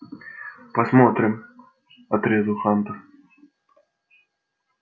посмотрим отрезал хантер